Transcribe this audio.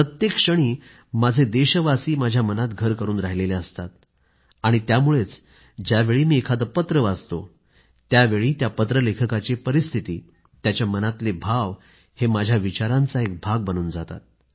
प्रत्येक क्षणी माझे देशवासी माझ्या मनातच घर करून राहिलेले असतात आणि त्यामुळेच ज्यावेळी मी एखादं पत्र वाचतो त्यावेळी त्या पत्रलेखकाची परिस्थिती त्याच्या मनातले भाव हे माझ्या विचारांचा एक भाग बनून जातात